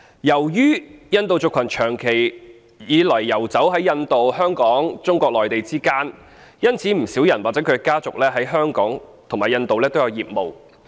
由於印度族群長期以來遊走於印度、香港及中國內地之間，因此不少人或其家族在香港及印度均有業務。